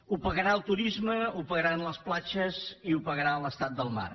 ho pagarà el turisme ho pagaran les platges i ho pagarà l’estat del mar